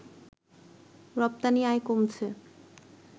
রপ্তানি আয় কমছে